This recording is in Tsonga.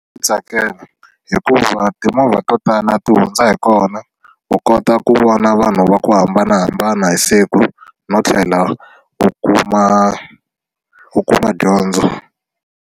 Tsakela hikuva timovha to tala ti hundza hi kona u kota ku vona vanhu va ku hambanahambana hi siku no tlhela u kuma u kuma dyondzo.